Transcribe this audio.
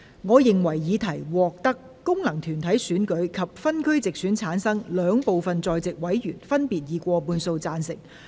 我認為議題獲得經由功能團體選舉產生及分區直接選舉產生的兩部分在席委員，分別以過半數贊成。